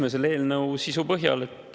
Eks selle eelnõu sisu põhjal.